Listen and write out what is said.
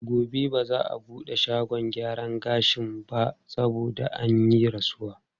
Gobe ba za a buɗe shagon gyaran gashin ba saboda an yi rasuwa.